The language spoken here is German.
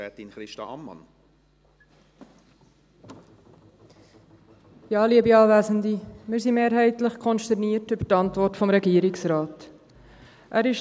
Wir sind mehrheitlich konsterniert über die Antwort des Regierungsrates.